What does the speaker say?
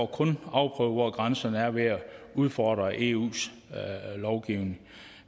kun afprøvet hvor grænserne er ved at udfordre eus lovgivning